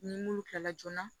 Ni m'olu kila joona